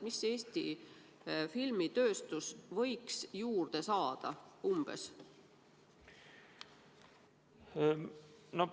Kui palju Eesti filmitööstus võiks raha juurde saada?